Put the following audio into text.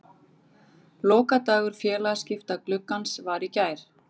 Lokadagur félagaskiptagluggans var í gær.